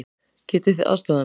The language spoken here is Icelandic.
Getið þið aðstoðað mig?